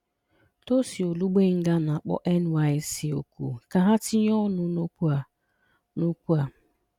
Tosin Olugbenga na-akpọ NYSC oku ka ha tinye ọnụ n'okwu a. n'okwu a.